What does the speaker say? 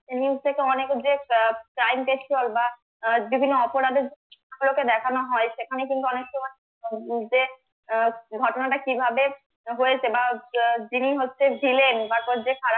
news থেকে অনেকের যে আহ crime বা আহ বিভিন্ন অপরাধের গুলোকে দেখানো হয় সেখানে কিন্তু অনেক সময় মধ্যে যে আহ ঘটনাটা কিভাবে হয়েছে বা আহ যিনি হচ্ছেন villain বা যে খারাপ